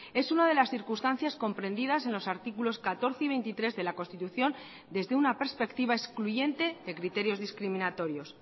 es una de las circunstancias comprendidas en los artículos catorce y veintitrés de la constitución desde una perspectiva excluyente de criterios discriminatorios